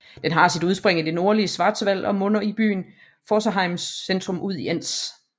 Den har sit udspring i det nordlige Schwarzwald og munder i byen Pforzheims centrum ud i Enz